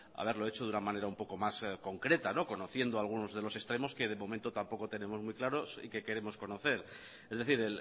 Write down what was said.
haberlo hecho de una manera un poco más concreta conociendo algunos de los extremos que de momento tampoco tenemos muy claros y que queremos conocer es decir